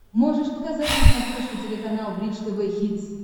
можешь показать на смотрешке телеканал бридж тв хитс